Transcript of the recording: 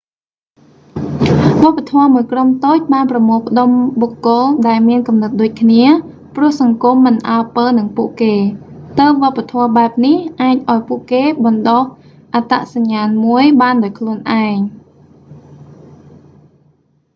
វប្បធម៌មួយក្រុមតូចបានប្រមូលផ្តុំបុគ្គល ដែលមានគំនិតដូចគ្នា ព្រោះសង្គមមិនអើពើនឹងពួកគេ ទើបវប្បធម៌បែបនេះអាចឱ្យពួកគេបណ្តុះអត្តសញ្ញាណមួយបានដោយខ្លួនឯង